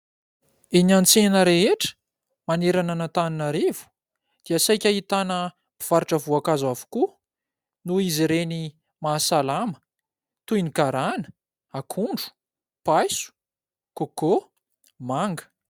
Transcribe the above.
Eny an-tsena rehetra manerana an'Antananarivo dia saika ahitana mpivarotra voankazo avokoa noho izy reny mahasalama toy ny garana, akondro, paiso, coco, manga.